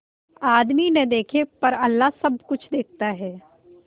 आदमी न देखे पर अल्लाह सब कुछ देखता है